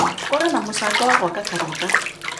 Kũrĩ na mũcango wa gwaka kanitha.